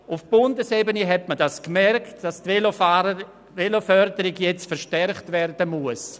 Auf Bundesebene hat man gemerkt, dass die Veloförderung nun verstärkt werden muss.